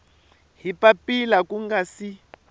hi papila ku nga si